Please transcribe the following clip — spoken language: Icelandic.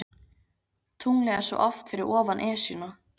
Tunglið er svo oft fyrir ofan Esjuna.